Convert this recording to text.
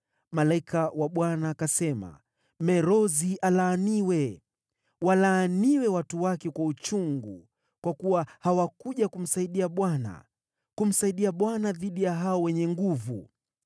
Malaika wa Bwana akasema, ‘Merozi alaaniwe. Walaaniwe watu wake kwa uchungu, kwa kuwa hawakuja kumsaidia Bwana , kumsaidia Bwana dhidi ya hao wenye nguvu.’